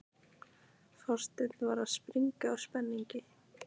Forsetinn er að springa úr spenningi.